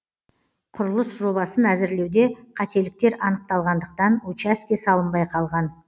құрылыс жобасын әзірлеуде қателіктер анықталғандықтан учаске салынбай қалған